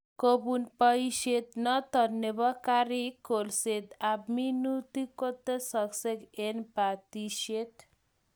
Kobun boishet notok nebo karik ,kolset ab minutik ko tesakse eng' batishet